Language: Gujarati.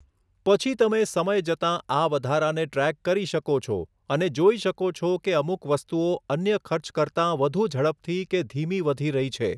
પછી તમે સમય જતાં આ વધારાને ટ્રૅક કરી શકો છો અને જોઈ શકો છો કે અમુક વસ્તુઓ અન્ય ખર્ચ કરતાં વધુ ઝડપથી કે ધીમી વધી રહી છે.